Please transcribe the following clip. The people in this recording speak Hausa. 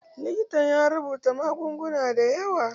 Likitan ya rubuta magunguna da yawa.